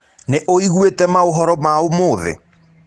Nĩũĩgũĩte maũhoro ma ũmũthĩ?